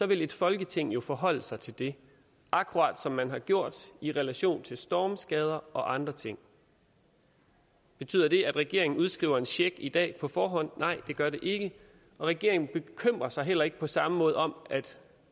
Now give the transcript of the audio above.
vil et folketing jo forholde sig til det akkurat som man har gjort i relation til stormskader og andre ting betyder det at regeringen udskriver en check i dag på forhånd nej det gør det ikke regeringen bekymrer sig heller ikke på samme måde om at